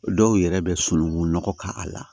Dɔw yɛrɛ bɛ sunukun nɔgɔ k'a la